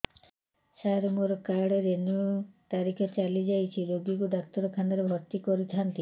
ସାର ମୋର card renew ତାରିଖ ଚାଲି ଯାଇଛି ରୋଗୀକୁ ଡାକ୍ତରଖାନା ରେ ଭର୍ତି କରିଥାନ୍ତି